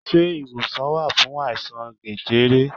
Se iwosan wa fun aisan jẹjẹrẹ?